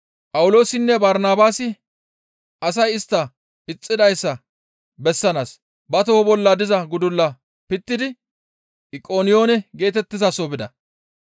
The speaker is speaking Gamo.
Phawuloosinne Barnabaasi asay istta ixxidayssa bessanaas ba toho bolla diza gudulla pittidi Iqoniyoone geetettizaso bida.